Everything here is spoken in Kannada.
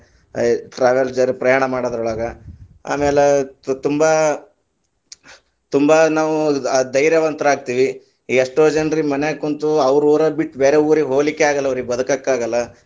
ಆ travel ಜರ ಪ್ರಯಾಣ ಮಾಡೋದ್ರೊಳಗ, ಆಮ್ಯಾಲ ತುಂಬಾ ತುಂಬಾ ನಾವು ಆ ಧೈಯ೯ವಂತರಾಗತಿವಿ, ಈಗ ಎಷ್ಟೋ ಜನರಿಗೆ ಮನ್ಯಾಗ ಕುಂತು ಅವ್ರ ಊರ ಬಿಟ್ಟು ಬೇರೆ ಊರಿಗೆ ಹೋಗಲಿಕ್ಕೆ ಆಗಲ್ಲಾ ಅವ್ರೀಗೆ ಬದಕಕ್ಕೆ ಆಗಲ್ಲಾ.